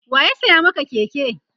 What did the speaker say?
waya saya Maka Keke?